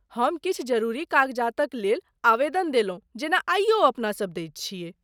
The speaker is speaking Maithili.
हम किछु जरूरी कागजातक लेल आवेदन देलहुँ जेना आइयो अपनासभ दैत छियै।